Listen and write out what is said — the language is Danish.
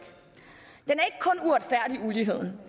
uligheden